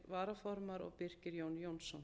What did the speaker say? varaformaður og birkir jón jónsson